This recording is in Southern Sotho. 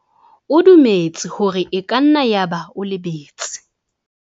O dumetse hore e ka nna yaba o lebetse.